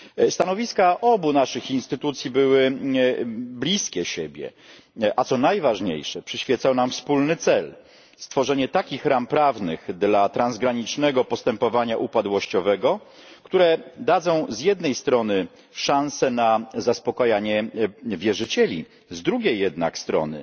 Stanowiska obu naszych instytucji były bliskie siebie a co najważniejsze, przyświecał nam wspólny cel stworzenie takich ram prawnych dla transgranicznego postępowania upadłościowego, które dadzą z jednej strony szanse na zaspokojenie wierzycieli, z drugiej jednak strony